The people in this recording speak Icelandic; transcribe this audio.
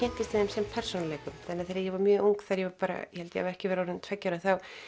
sem persónuleikum þannig að þegar ég var mjög ung ég held ég hafi ekki verið orðin tveggja ára